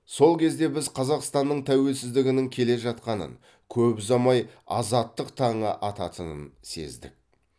сол кезде біз қазақстанның тәуелсіздігінің келе жатқанын көп ұзамай азаттық таңы ататынын сездік